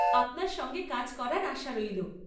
আপনার সঙ্গে কাজ করার আশা রইল।